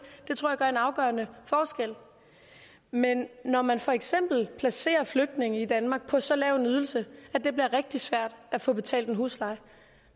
det tror jeg gør en afgørende forskel men når man for eksempel placerer flygtninge i danmark på så lav en ydelse at det bliver rigtig svært at få betalt husleje